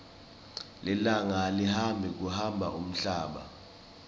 lilanga alihambi kuhamba umhlaba